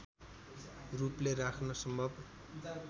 रूपले राख्न सम्भव